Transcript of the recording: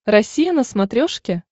россия на смотрешке